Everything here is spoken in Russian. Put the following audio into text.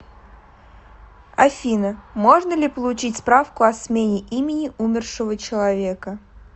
афина можно ли получить справку о смене имени умершего человека